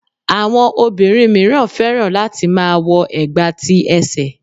Àwọn obìnrin míràn fẹ́ràn láti má a wo ẹ̀gbà ti ẹsẹ̀